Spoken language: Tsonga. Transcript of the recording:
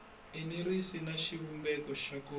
enerisi na xivumbeko xo ka